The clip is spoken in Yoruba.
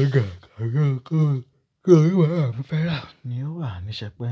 ọ̀gá kàkán kò, tí oníbàárà mi fẹ́ rà ni ó wà, mi ṣépè.